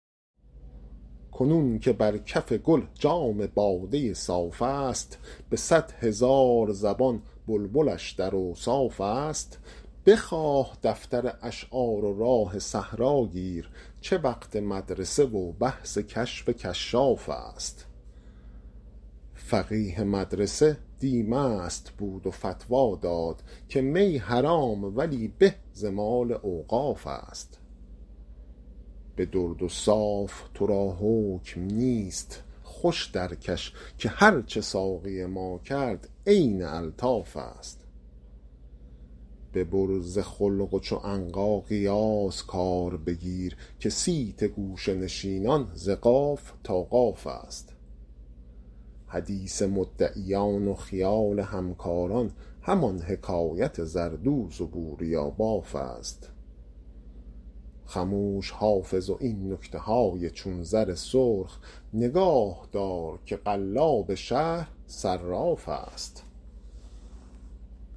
کنون که بر کف گل جام باده صاف است به صد هزار زبان بلبلش در اوصاف است بخواه دفتر اشعار و راه صحرا گیر چه وقت مدرسه و بحث کشف کشاف است فقیه مدرسه دی مست بود و فتوی داد که می حرام ولی به ز مال اوقاف است به درد و صاف تو را حکم نیست خوش درکش که هرچه ساقی ما کرد عین الطاف است ببر ز خلق و چو عنقا قیاس کار بگیر که صیت گوشه نشینان ز قاف تا قاف است حدیث مدعیان و خیال همکاران همان حکایت زردوز و بوریاباف است خموش حافظ و این نکته های چون زر سرخ نگاه دار که قلاب شهر صراف است